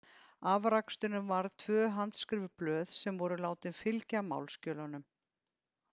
Afraksturinn varð tvö handskrifuð blöð sem voru látin fylgja málsskjölunum.